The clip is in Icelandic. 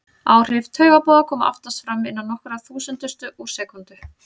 Áhrif taugaboða koma oftast fram innan nokkurra þúsundustu úr sekúndu.